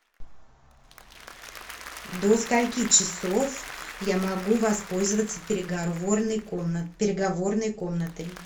до скольки часов я могу воспользоваться переговорной комнатой